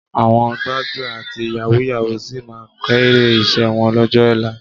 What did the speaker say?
Àwọn gbájúẹ̀, àti yàwúù-yàwúù sì máa kéré iṣẹ́ wọn lọ́jọ́ ọ̀la